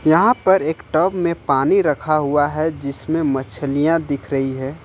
यहां पर एक टब में पानी रखा हुआ है जिसमें मछलियां दिख रही है।